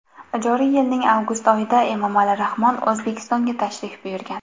Joriy yilning avgust oyida Emomali Rahmon O‘zbekistonga tashrif buyurgan.